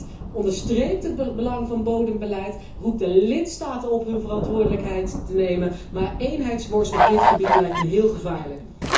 Het verslag onderstreept het belang van bodembeleid, roept de lidstaten op hun verantwoordelijkheid te nemen, maar eenheidsworst op dit gebied lijkt mij heel gevaarlijk.